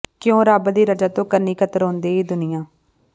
ਕਿਉਂ ਰੱਬ ਦੀ ਰਜ਼ਾ ਤੋਂ ਕੰਨੀਂ ਕਤਰਾਉਂਦੀ ਏ ਦੁਨੀਆਂ